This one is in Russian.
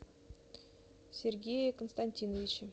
сергее константиновиче